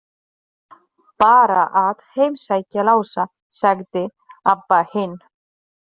Bara að heimsækja Lása, sagði Abba hin.